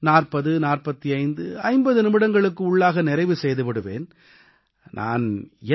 அதிகப்படியாக 404550 நிமிடங்களுக்கு உள்ளாக நிறைவு செய்து விடுவேன்